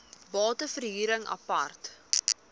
bate verhuring apart